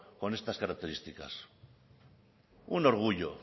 con estas características un orgullo